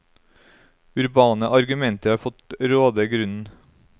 Urbane argumenter har fått råde grunnen.